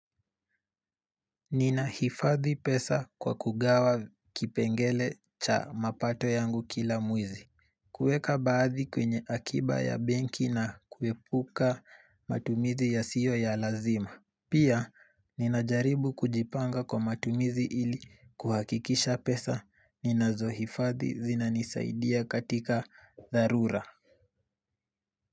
Ninahifadhi pesa kwa kugawa kipengele cha mapato yangu kila mwezi kuweka baadhi kwenye akiba ya benki na kuepuka matumizi yasiyo ya lazima Pia ninajaribu kujipanga kwa matumizi ili kuhakikisha pesa ninazohifadhi zinanisaidia katika dharura.